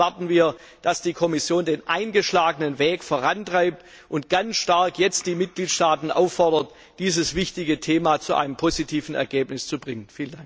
Hier erwarten wir, dass die Kommission den eingeschlagenen Weg vorantreibt und ganz nachdrücklich die Mitgliedstaaten auffordert, dieses wichtige Thema zu einem positiven Ergebnis zu bringen.